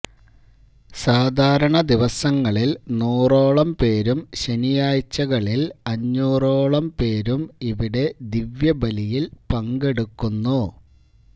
സാധാരണ ദിവസങ്ങളില് നൂറോളം പേരും ശനിയാഴ്ചകളില് അഞ്ഞൂറോളം പേരും ഇവിടെ ദിവ്യബലിയില് പങ്കെടുക്കുന്നു